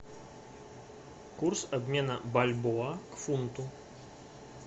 курс обмена бальбоа к фунту